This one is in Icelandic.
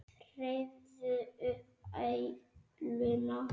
Þrífðu upp æluna.